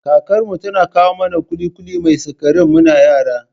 Kakar mu tana kawo mana ƙuli-ƙuli mai sikari muna yara